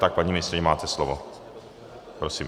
Tak paní ministryně, máte slovo, prosím.